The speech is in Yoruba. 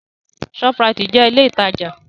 Shoprite jẹ́ ilé ìtajà.